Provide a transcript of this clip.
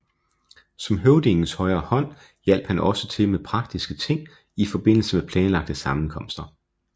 Som høvdingens højre hånd hjalp han også til med praktiske ting i forbindelse med planlagte sammenkomster